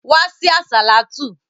Wá sí àsàlátú!